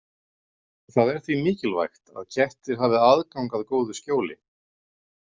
Það er því mikilvægt að kettir hafi aðgang að góðu skjóli.